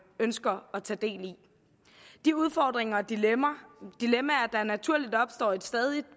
ønsker at tage del i de udfordringer og dilemmaer der naturligt opstår i et stadig